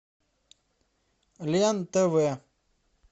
лен тв